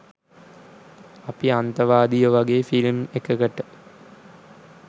අපි අන්තවාදියෝ වගේ ෆිල්ම් එකකට